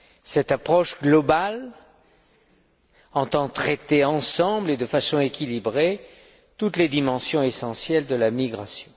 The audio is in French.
Cette approche globale entend traiter ensemble et de façon équilibrée toutes les dimensions essentielles de la migration.